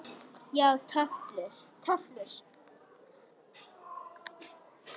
Já, töflur.